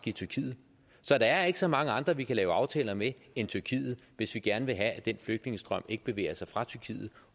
i tyrkiet så der er ikke så mange andre vi kan lave aftaler med end tyrkiet hvis vi gerne vil have at den flygtningestrøm ikke bevæger sig fra tyrkiet